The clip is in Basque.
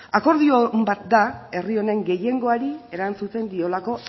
akordio on bat da herri honen gehiengoari erantzuten diolako